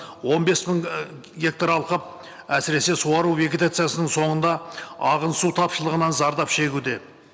он бес мың ыыы гектар алқап әсіресе суару вегетациясының соңында ағын су тапшылығынан зардап шегуде